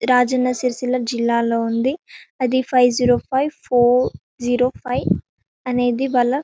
రాజన్న సిరిసిల్ల జిల్లాలో ఉంది అది five zero five four zero five అనేది--